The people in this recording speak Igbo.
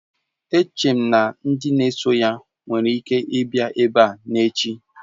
Eche m na ndị na-eso ya nwere ike ịbịa ebe a n'echi